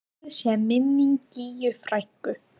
Blessuð sé minning Gígju frænku.